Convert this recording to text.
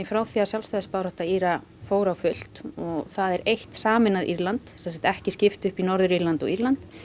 frá því að sjálfstæðisbarátta Íra fór á fullt og það er eitt sameinað Írland sem sagt ekki skipt upp í Norður Írland og Írland